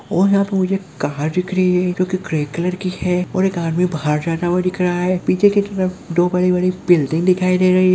और यहाँ पे मुझे एक कार दिख रही है जो की ग्रे कलर की है और एक आदमी बाहर जाता हुआ दिख रहा है पीछे की तरफ दो बड़ी बड़ी बिल्डिंग दिखाई दे रही हैं ।